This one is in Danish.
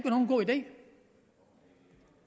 nogen god idé